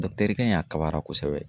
kɛ in a kabara kosɛbɛ.